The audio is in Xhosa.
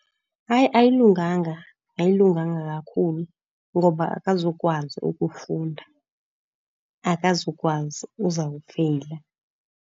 Hayi ayilunganga, ayilunganga kakhulu. Ngoba akazukwazi ukufunda, akazukwazi, uzawufeyila.